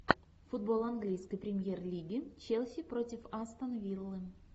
футбол английской премьер лиги челси против астон виллы